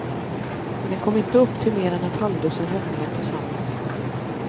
Men de kom inte upp till mer än ett halvdussin räddningar tillsammans.